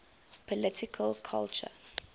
political culture